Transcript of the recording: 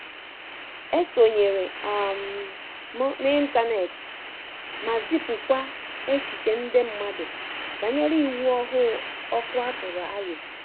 E sonyere um m n'ịntanet ma zipụkwa echiche nde mmandu banyere iwu ọhụụ ọkụ a tụrụ aro